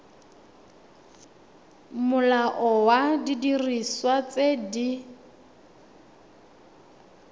molao wa didiriswa tse di